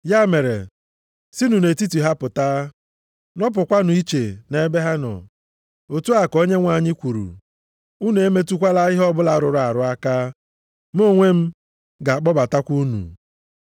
Ya mere, “Sinụ nʼetiti ha pụta. Nọpụkwanụ iche nʼebe ha nọ. Otu a ka Onyenwe anyị kwuru. Unu emetụkwala ihe ọbụla rụrụ arụ aka. Mụ onwe m ga-akpọbatakwa unu.” + 6:17 \+xt Aịz 52:11; Izk 20:34,41\+xt*